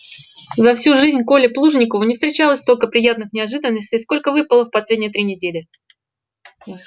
за всю жизнь коле плужникову не встречалось столько приятных неожиданностей сколько выпало в последние три недели